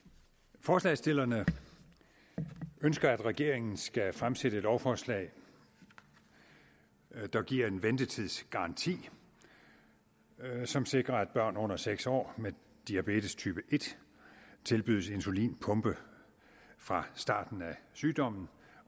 forslagsstillerne ønsker at regeringen skal fremsætte lovforslag der giver en ventetidsgaranti som sikrer at børn under seks år med diabetestype en tilbydes insulinpumpe fra starten af sygdommen